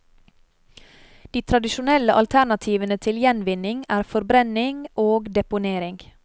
De tradisjonelle alternativene til gjenvinning er forbrenning og deponering.